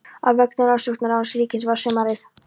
Á vegum Rannsóknaráðs ríkisins var sumarið